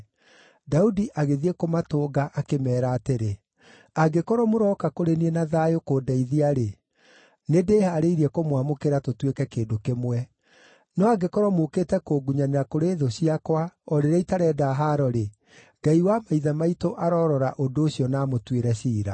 Daudi agĩthiĩ kũmatũnga, akĩmeera atĩrĩ, “Angĩkorwo mũrooka kũrĩ niĩ na thayũ kũndeithia-rĩ, nĩndĩhaarĩirie kũmwamũkĩra tũtuĩke kĩndũ kĩmwe; no angĩkorwo mũũkĩte kũngunyanĩra kũrĩ thũ ciakwa o rĩrĩa itarenda haaro-rĩ, Ngai wa maithe maitũ arorora ũndũ ũcio na amũtuĩre ciira.”